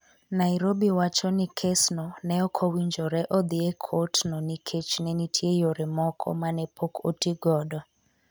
Nairobi wacho ni kesno ne ok owinjore odhi e kot no nikech ne nitie yore moko ma ne pok otigodo.-